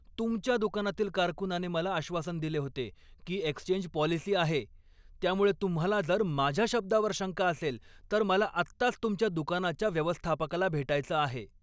तुमच्या दुकानातील कारकूनाने मला आश्वासन दिले होते की एक्सचेंज पॉलिसी आहे, त्यामुळे तुम्हाला जर माझ्या शब्दावर शंका असेल, तर मला आत्ताच तुमच्या दुकानाच्या व्यवस्थापकाला भेटायचं आहे.